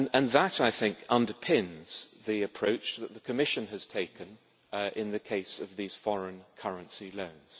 That, I think, underpins the approach that the Commission has taken in the case of these foreign currency loans.